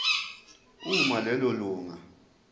uma lelo lunga